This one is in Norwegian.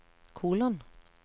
kolon